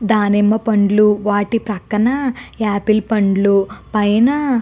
దానిమ్మ పండ్లు వాటి పక్కన యాపిల్ పండ్లు పైన --